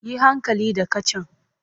Yi hankali da kacan!